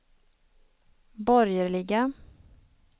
borgerliga